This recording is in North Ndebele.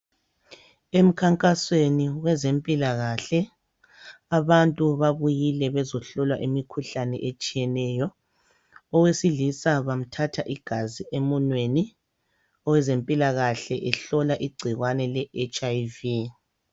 Emkhankasweni wezempilakahle abantu babuyile bezohlola imikhuhlane etshiyeneyo. Owesilisa bamthatha igazi emunweni . Owezempilakahle ehlola igcikwane le HIV .